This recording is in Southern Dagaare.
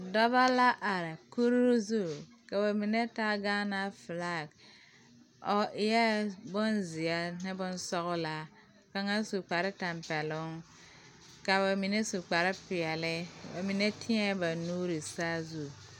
Dɔba la are kuri zu, ka ba mine taa Gaana flakiri o eɛ bonzeɛ ne bon sɔglaa ka kaŋa su kparre tempeloŋka ba mine su kparre pɛɛle ba mine teɛ ba nuuri saazu.